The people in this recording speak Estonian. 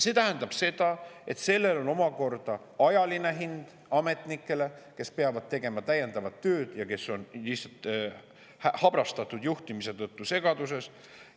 Sellel on omakorda ajaline hind ametnikele, kes peavad tegema täiendavat tööd ja kes on habrastatud juhtimise tõttu segaduses.